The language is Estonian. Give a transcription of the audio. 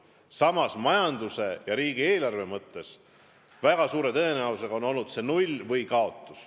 Samas, majanduse ja riigieelarve mõttes on mõju väga suure tõenäosusega olnud null või kaotus.